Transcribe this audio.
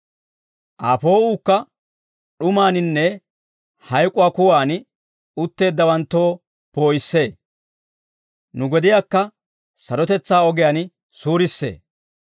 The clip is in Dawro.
Aa poo'uukka d'umaaninne hayk'uwaa kuwaan, utteeddawanttoo poo'issee; nu gediyaakka sarotetsaa ogiyaan suurissee.»